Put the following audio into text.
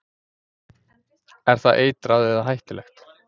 Er það eitrað eða hættulegt?